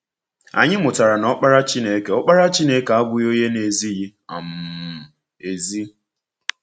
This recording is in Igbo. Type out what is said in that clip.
Anyị mụtara na Ọkpara Chineke Ọkpara Chineke abụghị onye na-ezighị um ezi.